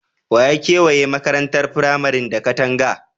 Wa ya kewaye makarantar firamaren da katanga?